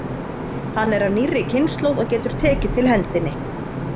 Hann er af nýrri kynslóð og getur tekið til hendinni.